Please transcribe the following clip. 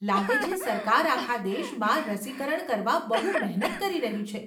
લાગે છે સરકાર આખા દેશમાં રસીકરણ કરવા બહુ મહેનત કરી રહી છે.